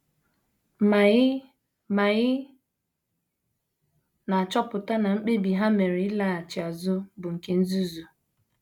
Ma ị Ma ị na - achọpụta na mkpebi ha mere ịlaghachi azụ bụ nke nzuzu.